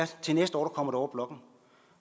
til næste år kommer over blokken